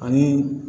Ani